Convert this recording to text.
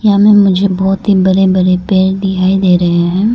यहां में मुझे बहोत ही बरे बरे पेर दिखाई दे रहे हैं।